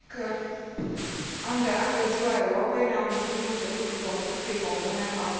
An de an, de ziua Europei, ne amintim începutul construcției comune a Proiectului european.